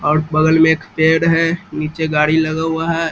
और बगल में एक पेड़ है नीचे गाड़ी लगा हुआ है।